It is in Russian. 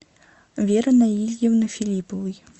веры наильевны филипповой